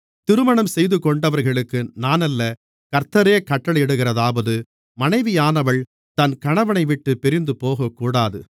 திருமணம்செய்துகொண்டவர்களுக்கு நானல்ல கர்த்தரே கட்டளையிடுகிறதாவது மனைவியானவள் தன் கணவனைவிட்டுப் பிரிந்துபோகக்கூடாது